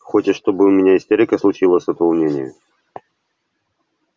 хочешь чтобы у меня истерика случилась от волнения